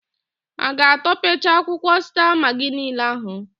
Ha a ga-atọpecha akwụkwọ sta magị niile ahụ?